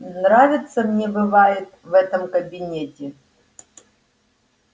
нравится мне бывает в этом кабинете